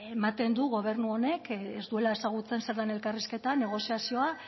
ematen du gobernu honek ez duela ezagutzen zer den elkarrizketa negoziazioa